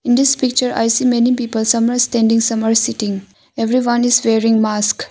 In this picture I see many people some are standing some are sitting everyone is wearing mask.